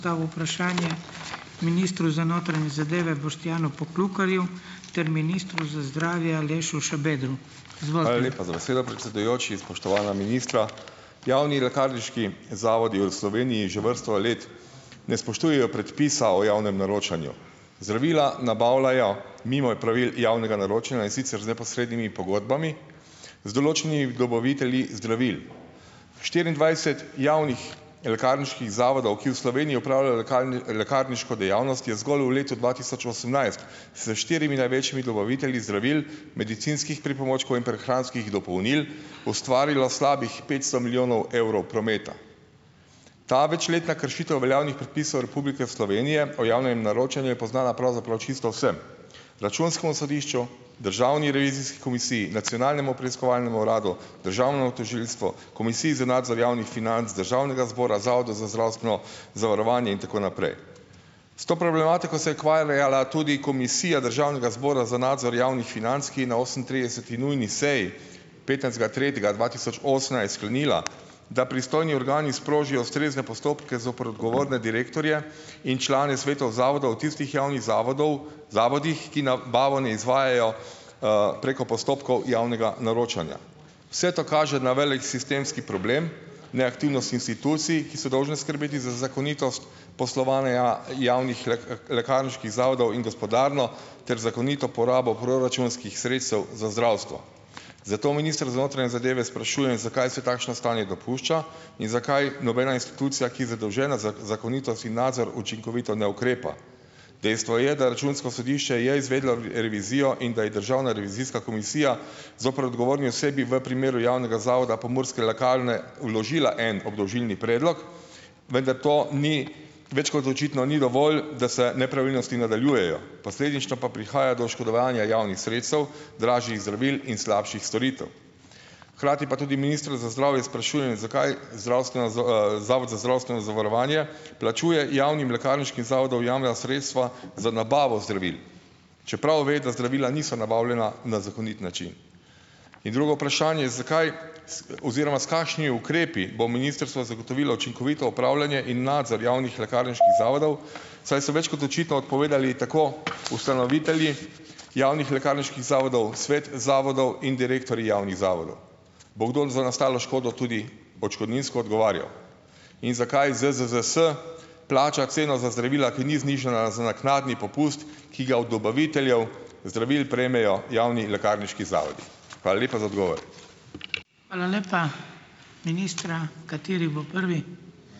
Dal vprašanje ministru za notranje zadeve Boštjanu Poklukarju ter ministru za zdravje Alešu Šabedru. Izvolite. Hvala za besedo, predsedujoči, spoštovana ministra . Javni lekarniški zavodi v Sloveniji že vrsto let ne spoštujejo predpisa o javnem naročanju. Zdravila nabavljajo mimo pravil javnega naročanja, in sicer z neposrednimi pogodbami, z določenim dobavitelji zdravil. V štiriindvajset javnih lekarniških zavodih, ki v Sloveniji opravljajo lekarniško dejavnost, je zgolj v letu dva tisoč osemnajst s štirimi največjimi dobavitelji zdravil, medicinskih pripomočkov in prehranskih dopolnil ustvarilo slabih petsto milijonov evrov prometa. Ta večletna kršitev veljavnih predpisov Republike Slovenije po javnem naročanju, je poznana pravzaprav čisto vsem. Računskemu sodišču, Državni revizijski komisiji, Nacionalnemu preiskovalnemu uradu, Državno tožilstvo, Komisiji za nadzor javnih financ Državnega zbora, Zavodu za zdravstveno zavarovanje in tako naprej. S to problematiko se tudi Komisija Državnega zbora za nadzor javnih financ, ki na osemintrideseti nujni seji petnajstega tretjega dva tisoč osemnajst sklenila, da pristojni organi sprožijo ustrezne postopke zoper odgovorne direktorje in člane svetov zavoda v tistih javnih zavodov, zavodih, ki nabavo ne izvajajo, preko postopkov javnega naročanja. Vse to kaže na velik sistemski problem , neaktivnost institucij, ki so dolžne skrbeti za zakonitost, poslovanje javnih lekarniških zavodov in gospodarno ter zakonito porabo proračunskih sredstev za zdravstvo. Zato, minister, za notranje zadeve sprašujem, zakaj se takšno stanje dopušča in zakaj nobena institucija, ki zadolžena za zakonito signacijo učinkovito ukrepa? Dejstvo je, da Računsko sodišče je izvedlo revizijo in da je Državna revizijska komisija zoper odgovorni osebi v primeru javnega zavoda Pomurske lekarne vložila en obdolžilni predlog, vendar to ni, več kot očitno, ni dovolj, da se nepravilnosti nadaljujejo, posledično pa prihaja do oškodovanja javnih sredstev, dražjih zdravil in slabših storitev. Hkrati pa tudi ministra za zdravje sprašujem, zakaj zdravstvena Zavod za zdravstveno zavarovanje plačuje javnim lekarniškim zavodom javna sredstva za nabavo zdravil, čeprav ve, da zdravila niso nabavljena na zakonit način? In drugo vprašanje, zakaj oziroma s kakšnimi ukrepi bo ministrstvo zagotovilo učinkovito upravljanje in nadzor javnih lekarniških zavodov , saj so več kot očitno odpovedali tako ustanovitelji javnih lekarniških zavodov, svet zavodov in direktorji javnih zavodov? Bo kdo za nastalo škodo tudi odškodninsko odgovarjal? In zakaj ZZZS plača ceno za zdravila, ki ni znižana za naknadni popust, ki ga od dobaviteljev zdravil prejmejo javni lekarniški zavodi? Hvala lepa za odgovore. Hvala lepa. Ministra, kateri bo prvi?